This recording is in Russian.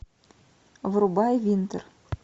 врубай винтер